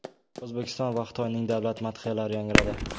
O‘zbekiston va Xitoyning davlat madhiyalari yangradi.